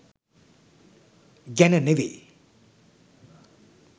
ගැන නෙවේ.